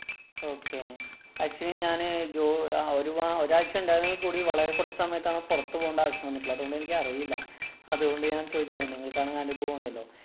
okay. Actually ഞാനെ ജോ അഹ് ഒരു വ~ ഒരാഴ്ച ഉണ്ടായിരുന്നെങ്കില്‍ കൂടി വളരെ കുറച്ചു സമയത്താണ് പുറത്ത് പോകണ്ട ആവശ്യം വന്നിട്ടുള്ളത്. അതുകൊണ്ട് എനിക്കറിയില്ല. അതുകൊണ്ട് ഞാന്‍ ചോദിച്ചതാണ്. നിങ്ങള്‍ക്കാണേ അനുഭവം ഉണ്ടല്ലോ.